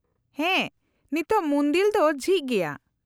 -ᱦᱮᱸ, ᱱᱤᱛᱚᱜ ᱢᱩᱱᱫᱤᱞ ᱫᱚ ᱡᱷᱤᱡ ᱜᱮᱭᱟ ᱾